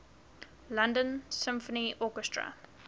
london symphony orchestra